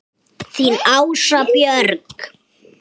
Þín Ása Björg.